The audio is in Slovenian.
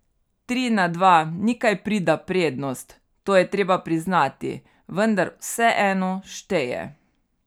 Tri na dva ni kaj prida prednost, to je treba priznati, vendar vseeno šteje.